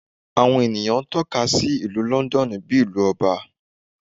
Awọn eniyan tọka si Ilu Lọndọnu bi Ilú Ọba